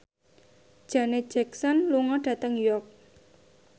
Janet Jackson lunga dhateng York